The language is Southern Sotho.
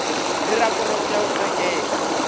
le raporoto ya ho qetela